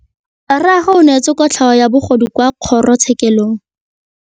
Rragwe o neetswe kotlhaô ya bogodu kwa kgoro tshêkêlông.